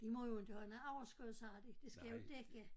De må jo inte have noget overskud sagde de det skal jo dække